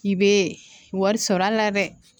I bɛ wari sɔrɔ a la dɛ